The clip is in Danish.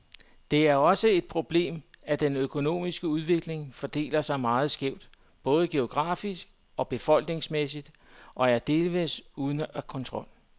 Det er også et problemet, at den økonomiske udvikling fordeler sig meget skævt, både geografisk og befolkningsmæssigt, og er delvist ude af kontrol.